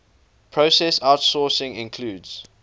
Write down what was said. process outsourcing includes